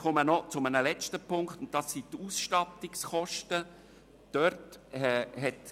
Ich komme noch zu einem letzten Punkt, der die Ausstattungskosten betrifft.